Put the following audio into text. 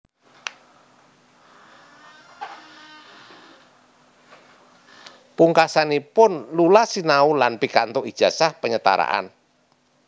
Pungkasanipun Lula sinau lan pikantuk ijazah penyetaraan